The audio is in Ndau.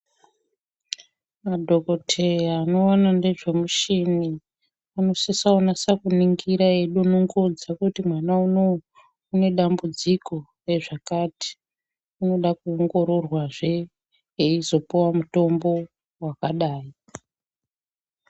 Madhokotheya anoona ngezvemushini anosisa kunasa kuningira eidonongodza kuti mwana unou une dambudziko rezvakati, unoda kuongororwazve eizopuwa mutombo wakadai